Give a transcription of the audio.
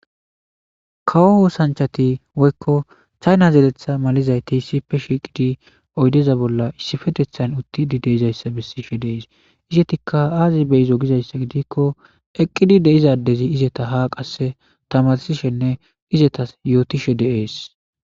kawo oosanchati woykko chayna zeeletha malizayti sipe shiiqidi oydeza bolla issifetethayn uttidi deizayssa bessishe dees izetikka aazi beyizo gizayssa gidikko eqqidi deizadezi izeta ha qasse tamarsishenne izetas yootishe deees